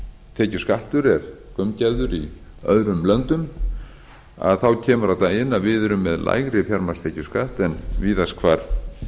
fjármagnstekjuskattur er gaumgæfður í öðrum löndum kemur á daginn að við erum með lægri fjármagnstekjuskatt en víðast hvar